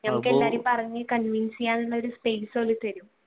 ഞമ്മക്ക് എല്ലാരേം പറഞ്ഞു convince ചെയ്യാനുള്ള ഒരു space